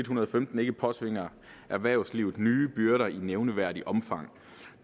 hundrede og femten ikke påtvinger erhvervslivet nye byrder i nævneværdigt omfang